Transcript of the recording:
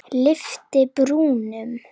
Lyfti brúnum.